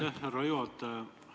Aitäh, härra juhataja!